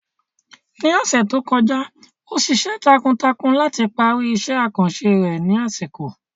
Ní ọ̀sẹ̀ tó kọjá, ó ṣiṣẹ́ takuntakun láti parí iṣẹ́ àkànṣe rẹ̀ ní àsìkò.